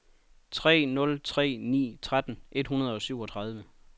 tre nul tre ni tretten et hundrede og syvogtredive